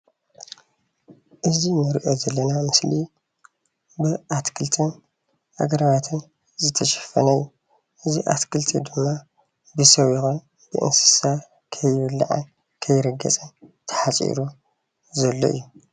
እዚ እንሪኦ ዘለና ምስሊ ብኣትክልትን ኣግራባትን ዝተሸፈነ እዩ፣ እዚ ኣትክልቲ ድማ ብሰብ ይኩን ብእንስሳ ከይብላዕን ከይርገፅን ተሓፂሩ ዘሎ እዩ።